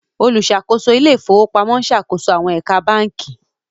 oluṣakoso Ilé ìfowópamọ́ n ṣàkóso àwọn ẹ̀ka bánkì